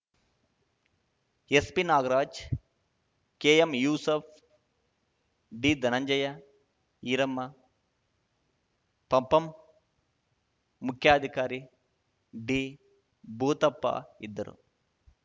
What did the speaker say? ಎಸ್‌ಪಿನಾಗರಾಜ್‌ ಕೆಎಂಯೂಸಫ್‌ ಡಿಧನಂಜಯ ಈರಮ್ಮ ಪಪಂ ಮುಖ್ಯಾಧಿಕಾರಿ ಡಿಭೂತಪ್ಪ ಇದ್ದರು